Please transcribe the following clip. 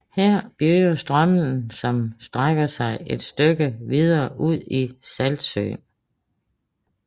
Her begynder Strömmen som strækker sig et stykke videre ud i Saltsjön